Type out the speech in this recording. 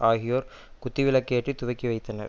ஆகியோர் குத்து விளக்கு ஏற்றி துவக்கி வைத்தனர்